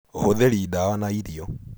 Ũhũthĩri dawa na irio.